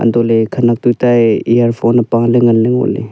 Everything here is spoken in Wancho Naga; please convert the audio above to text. untohley khenak tuta e earphone apaley nganley ngoley.